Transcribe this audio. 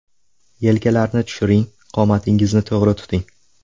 Yelkalarni tushiring, qomatingizni to‘g‘ri tuting.